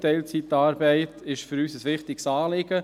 Teilzeitarbeit ist für uns ein wichtiges Anliegen.